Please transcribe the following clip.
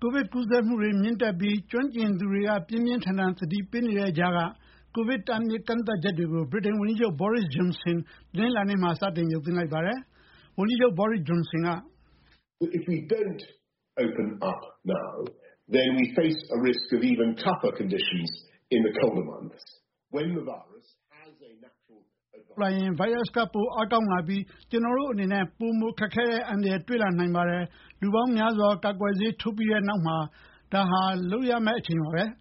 ကိုဗစ်ကူးစက်မှုတွေမြင့်တက်ပြီး ကျွမ်းကျင်သူတွေ ပြင်းပြင်းထန်ထန်သတိပေးနေတဲ့ကြားက ကိုဗစ်တားမြစ်ကန့်သတ်ချက်တွေကို ဗြိတိန်ဝန်ကြီးချုပ် Boris Johnson တနင်္လာနေ့မှာ စတင်ရုပ်သိမ်းလိုက်ပါတယ်။ ဝန်ကြီးချုပ် Johnson က- “အခုချိန်ဖွင့်မပေးရင် အေးတဲ့လတွေ ရောက်လာရင် ဗိုင်းရပ်စ်က ပိုမိုအားကောင်းလာပြီး ကျနော်တို့အနေနဲ့ ပိုမိုခက်ခဲတဲ့ အန္တရာယ်တွေ့လာနိုင်ပါတယ်။ လူပေါင်းများစွာ ကာကွယ်ဆေးထိုးပြီးတဲ့နောက်မှာ ဒါဟာ လုပ်ရတဲ့အချိန်ပါပဲ။